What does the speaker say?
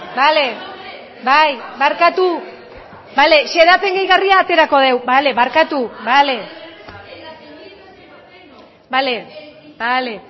bale bai barkatu bale xedapen gehigarria aterako dugu bale barkatu bale bale bale